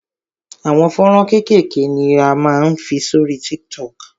Àwọn fọ́nrán kékèké ni a máa ń fi sórí TikTok.